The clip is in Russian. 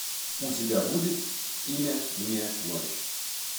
у тебя будет имя мне ночь